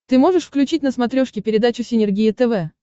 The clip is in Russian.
ты можешь включить на смотрешке передачу синергия тв